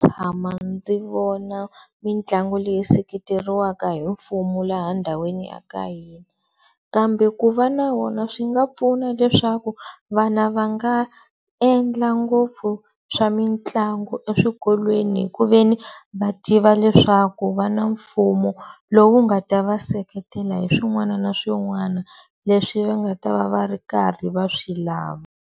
Tshama ndzi vona mitlangu leyi seketeriweka hi mfumu laha ndhawini ya ka hina kambe ku va na wona swi nga pfuna leswaku vana va nga endla ngopfu swa mitlangu eswikolweni hi ku ve ni va tiva leswaku va na mfumo lowu nga ta va seketela hi swin'wana na swin'wana leswi va nga ta va va ri karhi va swi lava.